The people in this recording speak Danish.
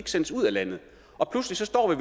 sendes ud af landet og pludselig står